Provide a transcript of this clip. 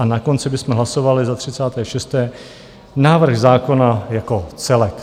A na konci bychom hlasovali za 36. návrh zákona jako celek.